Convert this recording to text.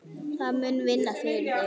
Það mun vinna fyrir þig.